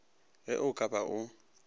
ge o ka ba o